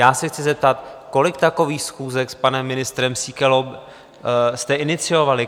Já se chci zeptat, kolik takových schůzek s panem ministrem Síkelou jste iniciovali?